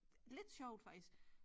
Lidt sjovt faktisk